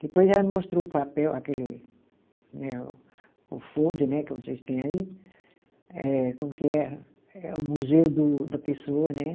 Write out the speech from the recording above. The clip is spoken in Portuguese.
Depois ela me mostrou o papel, aquele né o, o folder né que vocês têm aí, eh como que é, é o museu do da pessoa, né?